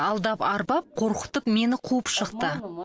алдап арбап қорқытып мені қуып шықты